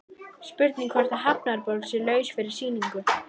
Spurning hvort að Hafnarborg sé laus fyrir sýningu?